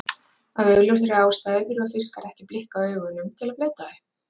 Af augljósri ástæðu þurfa fiskar ekki að blikka augunum til að bleyta þau.